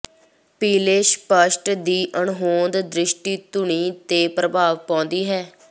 ਪੀਲੇ ਸਪੱਸ਼ਟ ਦੀ ਅਣਹੋਂਦ ਦ੍ਰਿਸ਼ਟੀ ਧੁਨੀ ਤੇ ਪ੍ਰਭਾਵ ਪਾਉਂਦੀ ਹੈ